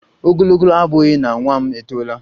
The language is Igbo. Ogologo abughi na nwa m etola